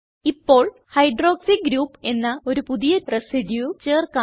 ഇപ്പോൾ hydroxy group എന്ന ഒരു പുതിയ റെസിഡ്യൂ ചേർക്കാം